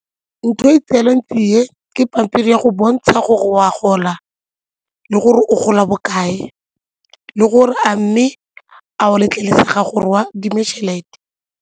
Ntho e tserweng tsie ke pampiri ya go bontsha gore o a gola le gore o gola bokae le gore a mme a o letlelesega gore o adime tšhelete.